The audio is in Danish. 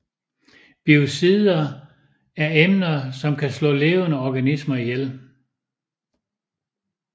Biocider er emner som kan slå levende organismer ihjel